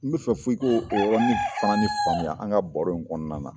N be fɛ f'i ko o yɔrɔnin fana ni faamuya an ka baro in kɔnɔna na.